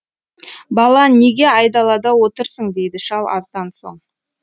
бала неге айдалада отырсың дейді шал аздан соң